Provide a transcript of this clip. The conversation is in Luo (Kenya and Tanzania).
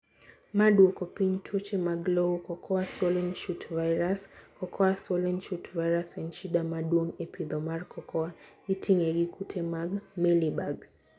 Maa duoko piny tuoche mag lowo. Cocoa Swollen Shoot Virus(CSSV) Cocoa swollen shoot virus en shida maduong e pidho mar cocoa. Itinge gi kute mag mealybugs.